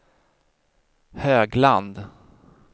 Högland